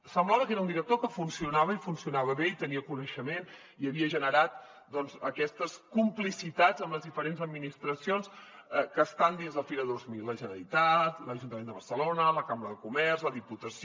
semblava que era un director que funcionava i funcionava bé i tenia coneixement i havia generat aquestes complicitats amb les diferents administracions que estan dins de fira dos mil la generalitat l’ajuntament de barcelona la cambra de comerç la diputació